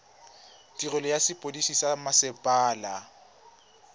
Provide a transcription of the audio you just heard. tirelo ya sepodisi sa mmasepala